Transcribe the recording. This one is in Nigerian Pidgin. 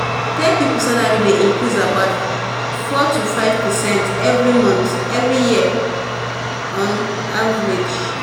tech people salary dey increase about four to five percent every month every year on average.